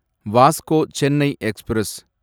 Vasco Chennai express